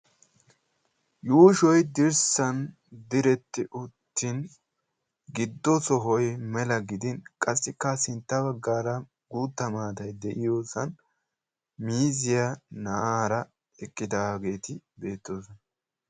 Yuushshoy dirssan diretti uttin giddo sohoy mela gidin qassikka sintta baggaara guutta maatay de'iyoosan miiziya na'aara eqqidaageeti beettoosona.